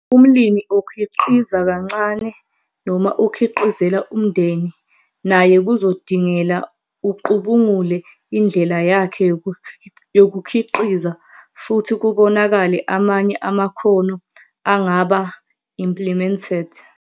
Umlimi okhiqiza kancane noma okhiqizela umndeni naye kuzodingela ucubungule indlela yakhe yokukhiqiza futhi kubonakale amanye amakhono angaba - implemented.